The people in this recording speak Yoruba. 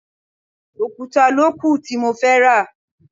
Òkúta ló kù tí mo fẹ́ rà.